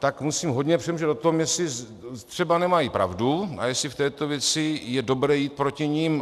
Tak musím hodně přemýšlet o tom, jestli třeba nemají pravdu a jestli v této věci je dobré jít proti nim.